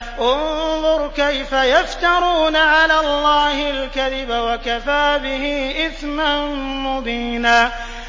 انظُرْ كَيْفَ يَفْتَرُونَ عَلَى اللَّهِ الْكَذِبَ ۖ وَكَفَىٰ بِهِ إِثْمًا مُّبِينًا